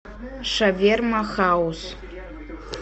шаверма хаус